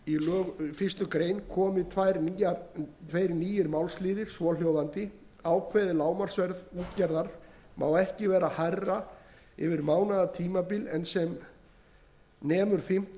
efnismgr fyrstu grein komi tveir nýir málsliðir svohljóðandi ákveðið lágmarksverð útgerðar má ekki vera hærra yfir mánaðartímabil en nemur fimmtán